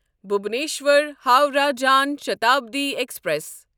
Bhubaneswar Howrah Jan Shatabdi express